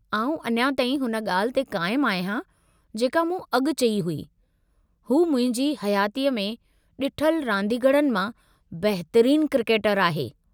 आउं अञा ताईं हुन ॻाल्हि ते क़ाइमु आहियां जेका मूं अॻु चई हुई, हू मुंहिंजी हयातीअ में ॾिठलु रांदीगरनि मां बहितरीनु क्रिकेटरु आहे।